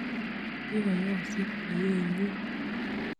Kikoyosit kweyienyi.